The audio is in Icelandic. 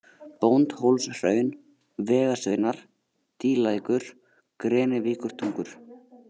Bóndhólshraun, Vegasveinar, Dýlækur, Grenivíkurtungur